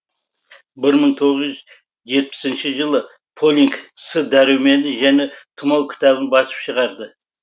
мың тоғыз жетпісінші жылы полинг с дәрумені және тұмау кітабын басып шығарды